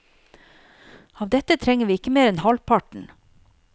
Av dette trenger ikke vi mer enn halvparten.